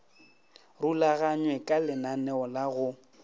rulaganywe ka lenaneo la go